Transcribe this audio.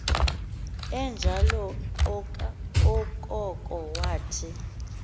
enjalo okoko wathi